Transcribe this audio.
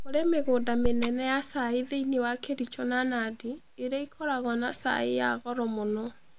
Kũrĩ mĩgũnda mĩnene ya cai thĩinĩ wa Kericho na Nandi, ĩrĩa ĩkoragwo na chai ya goro mũno.